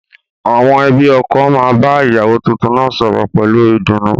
Àwọn ẹbí ọkọ máa bá ìyàwó tuntun náà sọ̀rọ̀ pẹ̀lú ìdùnnú